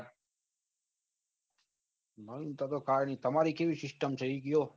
નવીન તા તો કઈ ની તમારી કેવી system થઈ ગયો